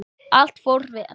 Allt fór vel.